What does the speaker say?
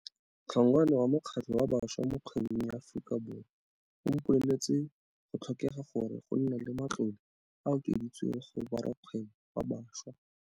Hlongwane wa mokgatlho wa Bašwa mo Kgwebong ya Aforika Borwa a mpoleletse, go tlhokega gore go nne le matlole a a okeditsweng go borakgwebo ba bašwa.